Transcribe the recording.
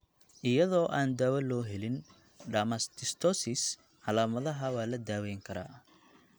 Iyadoo aan daawo loo helin dermatomyositis, calaamadaha waa la daweyn karaa.